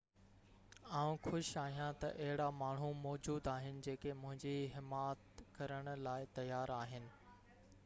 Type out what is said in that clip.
آئون خوش آهيان ته اهڙا ماڻهو موجود آهن جيڪي منهنجي حمات ڪرڻ لاءِ تيار آهن